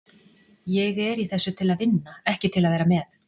Ég er í þessu til að vinna, ekki til að vera með.